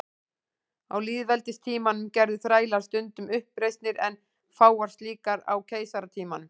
Á lýðveldistímanum gerðu þrælar stundum uppreisnir en fáar slíkar á keisaratímanum.